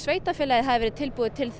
sveitarfélagið hafi verið tilbúið til